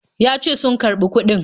Ya ce sun karɓi kuɗin.